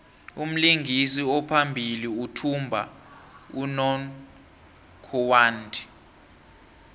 umlingisi ophambili uthumba unongorwand